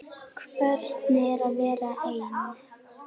Hvernig er að vera ein?